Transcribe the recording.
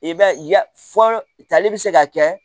I b'a ye ya fɔlɔ tali bɛ se ka kɛ